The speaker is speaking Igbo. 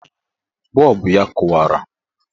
Bọọbụ ya kụwara.